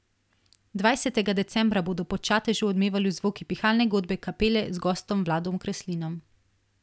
Dvajsetega decembra bodo po Čatežu odmevali zvoki Pihalne godbe Kapele z gostom Vladom Kreslinom.